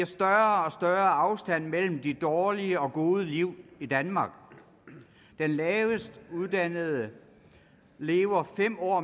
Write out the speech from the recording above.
større afstand mellem de dårlige og gode liv i danmark de lavest uddannede lever fem år